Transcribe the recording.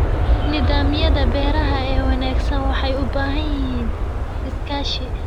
Nidaamyada beeraha ee wanaagsan waxay u baahan yihiin iskaashi.